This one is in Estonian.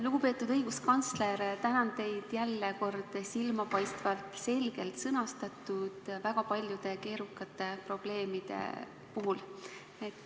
Lugupeetud õiguskantsler, tänan teid jälle kord silmapaistvalt selge sõnastuse eest väga paljudest keerukatest probleemidest kõneldes.